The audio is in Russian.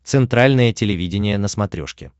центральное телевидение на смотрешке